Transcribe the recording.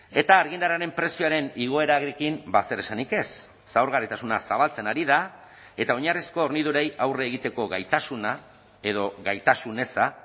eta argindarraren prezioaren igoerarekin zer esanik ez zaurgarritasuna zabaltzen ari da eta oinarrizko hornidurei aurre egiteko gaitasuna edo gaitasun eza